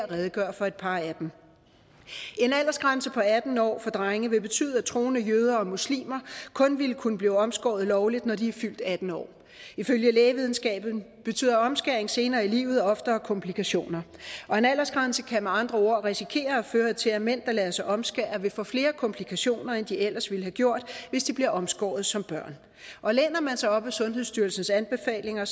redegøre for et par af dem en aldersgrænse på atten år for drenge vil betyde at troende jøder og muslimer kun vil kunne blive omskåret lovligt når de er fyldt atten år ifølge lægevidenskaben betyder omskæring senere i livet oftere komplikationer og en aldersgrænse kan med andre ord risikere at føre til at mænd der lader sig omskære vil få flere komplikationer end de ellers ville have gjort hvis de blev omskåret som børn og læner man sig op ad sundhedsstyrelsens anbefalinger